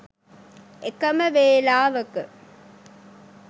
එකම වේලාවක